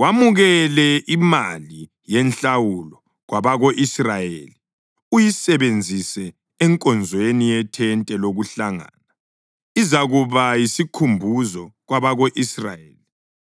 Wamukele imali yenhlawulo kwabako-Israyeli uyisebenzise enkonzweni yethente lokuhlangana. Izakuba yisikhumbuzo kwabako-Israyeli